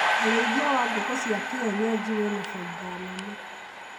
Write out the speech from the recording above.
ũrĩithia wa ngũkũ cia kĩenyeji wĩna bainda nene